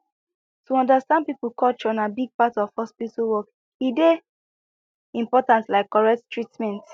to understand people culture na big part of hospital work e dey important like correct treatment